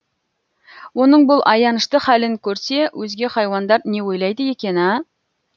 оның бұл аянышты халін көрсе өзге хайуандар не ойлайды екен ә